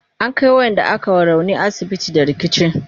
an Kai waƴanda aka wa rauni asibiti da rikici